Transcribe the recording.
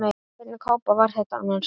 Hvernig kápa var þetta annars?